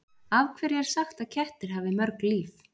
Af hverju er sagt að kettir hafi mörg líf?